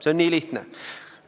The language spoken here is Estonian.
See on nii lihtne.